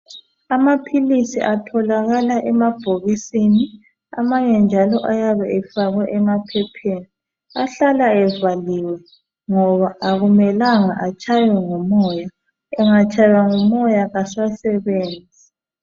Amaphilisi atholakala emabhokisini njalo amanye ahlala emaphepheni ,ayabe evaliwe ngoba akumelanga etshaywe ngumoya engatshaywa ngumoya asasebenzi .